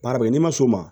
Baara kɛ n'i ma s'o ma